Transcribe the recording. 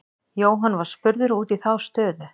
Jóhann var spurður út í þá stöðu.